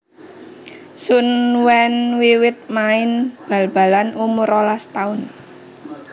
Sun Wen wiwit main bal balan umur rolas taun